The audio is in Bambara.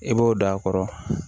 I b'o da a kɔrɔ